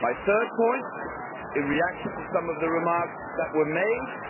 My third point, in reaction to some of the remarks that were made, is that